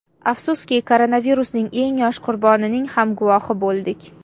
Afsuski, koronavirusning eng yosh qurbonining ham guvohi bo‘ldik.